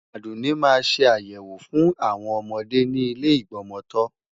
Àdùnní máa ṣe ayẹwo fún àwọn ọmọdé ni ile Ìgbọmọtọ́.